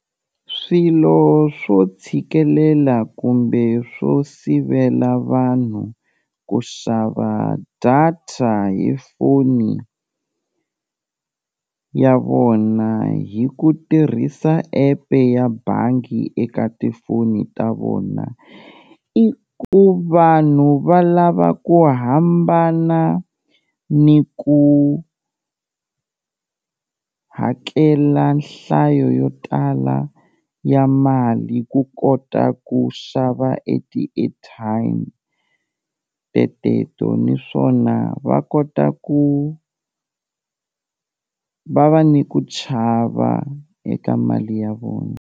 Swilo swo tshikelela kumbe swo sivela vanhu ku xava data hi foni ya vona hi ku tirhisa epe ya bangi eka tifoni ta vona, i ku vanhu va lava ku hambana ni ku hakela nhlayo yo tala ya mali ku kota ku xava e ti-airtime teteto naswona va kota ku va va ni ku chava eka mali ya vona.